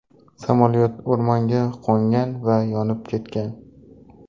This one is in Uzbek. Samolyot o‘rmonga qo‘ngan va yonib ketgan.